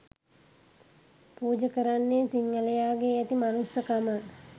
පුජ කරන්නේ සිංහලයාගේ ඇති මනුස්සකම